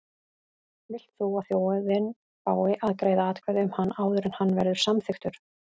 Vilt þú að þjóðin fái að greiða atkvæði um hann áður en hann verður samþykktur?